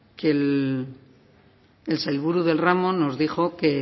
que el sailburu del ramo nos dijo que